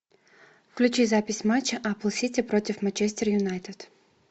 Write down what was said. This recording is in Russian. включи запись матча апл сити против манчестер юнайтед